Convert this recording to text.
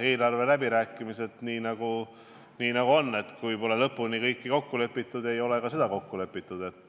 eelarve läbirääkimistega on nii, et seni, kuni kõiges pole lõpuni kokku lepitud, ei ole ka selles kokku lepitud.